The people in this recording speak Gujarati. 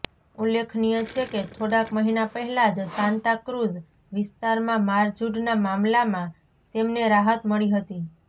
ઉલ્લેખનીય છે કે થોડાક મહિના પહેલા જ સાંતાક્રૂઝ વિસ્તારમાં મારઝૂડનાં મામલામાં તેમને રાહત મળી હતી